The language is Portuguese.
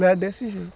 Lá é desse jeito.